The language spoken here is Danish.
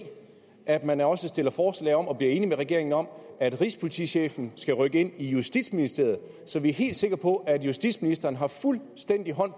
at man også stiller forslag om og bliver enige med regeringen om at rigspolitichefen skal rykke ind i justitsministeriet så vi er helt sikre på at justitsministeren har fuldstændig hånd